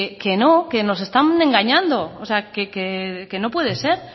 que no que nos están engañando o sea que no puede ser